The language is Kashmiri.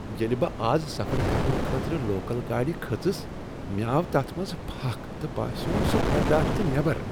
ییٚلہ بہٕ آز سفر کرنہٕ خٲطرٕ لوکل گاڑِ کھٔژٕس مےٚ آو تتھ منٛز پھکھ تہٕ باسییم سۄ برداشہٕ نیبر۔